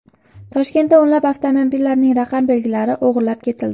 Toshkentda o‘nlab avtomobillarning raqam belgilari o‘g‘irlab ketildi.